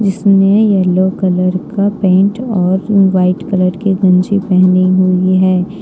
इसने yellow colour का pant और वाइट कलर के गमछी पहनी हुई है।